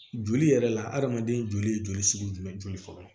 Joli yɛrɛ la adamaden joli sugu jumɛn joli fɔlɔ